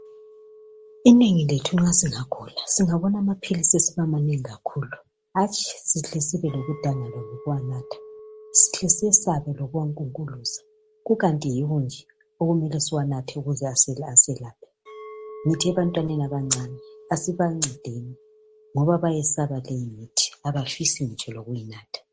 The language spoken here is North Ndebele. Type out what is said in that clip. Inengi lethu nxa singagula singabona amaphilisi esiba banengi kakhulu hatshi sihle sibe lokudangala lokuwanatha sihle siyesabe lokuwankukuluza kukanti yiwo nje okumele siwanathe ukuze aselaphe ngitsho ebantwaneni abancane asibancedeni ngoba bayesaba leyimithi abafisi ngitsho lokuyinatha